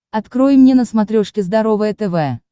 открой мне на смотрешке здоровое тв